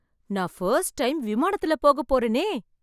நான் first time விமானத்துல போகப்போறேனே!